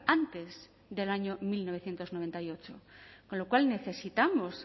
antes del año mil novecientos noventa y ocho con lo cual necesitamos